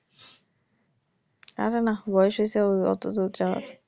আরে না বয়েস হয়েছে অতো দূর যাওয়া,